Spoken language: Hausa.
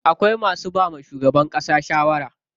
Akwai masu bawa shugaban ƙasa shawara.